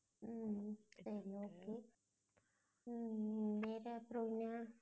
உம் உம் சரி okay உம் உம் வேற அப்புறம் என்ன?